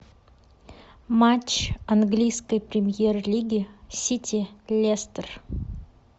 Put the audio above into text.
матч английской премьер лиги сити лестер